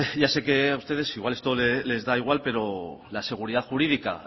ya sé que a ustedes igual esto les da igual pero la seguridad jurídica